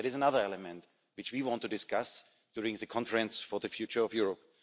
That is another element which we want to discuss during the conference on the future of Europe.